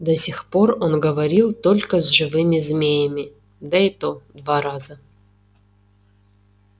до сих пор он говорил только с живыми змеями да и то два раза